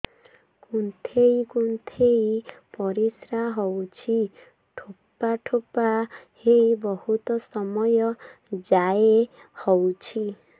କୁନ୍ଥେଇ କୁନ୍ଥେଇ ପରିଶ୍ରା ହଉଛି ଠୋପା ଠୋପା ହେଇ ବହୁତ ସମୟ ଯାଏ ହଉଛି